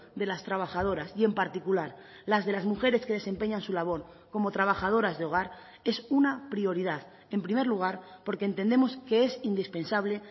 de las trabajadoras y en particular las de las mujeres que desempeñan su labor como trabajadoras de hogar es una prioridad en primer lugar porque entendemos que es indispensable